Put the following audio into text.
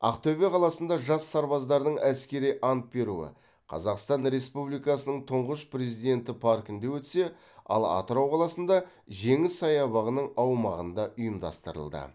ақтөбе қаласында жас сарбаздардың әскери ант беруі қазақстан республикасының тұңғыш президенті паркінде өтсе ал атырау қаласында жеңіс саябағының аумағында ұйымдастырылды